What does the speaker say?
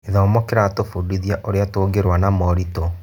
Gĩthomo kĩratũbundithia ũrĩa tũngĩrũa na moritũ.